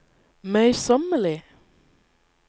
møysommelig